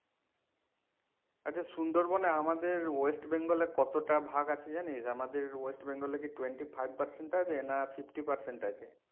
আচ্ছা সুন্দরবন এ আমাদের west bengal এ কতটা ভাগ আছে জানিস আমাদের west bengal এ কি twenty-five percent আছে না fifty percent আছে?